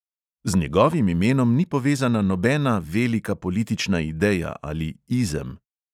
Z njegovim imenom ni povezana nobena velika politična ideja ali "izem".